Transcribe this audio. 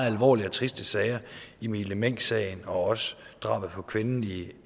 alvorlige og triste sager emilie meng sagen og drabet på kvinden i